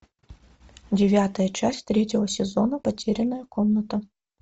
девятая часть третьего сезона потерянная комната